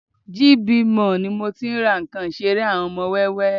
GB Mall ni mo tí ń ra àwọn nǹkan ìṣeré ọmọ wẹ́wẹ́